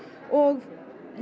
og